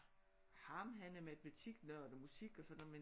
Ham han er matematiknørd og musik og sådan noget men